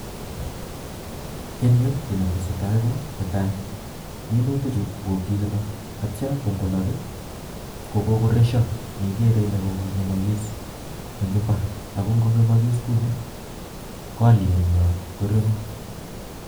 eng yu kit neteseytai ko .netai, minutik chu kokikolok atiam ingolok lkokokoresio ne igere ile kokongemogis eng mbar, akongongemagis kuni ko alyeet nyi korekuu.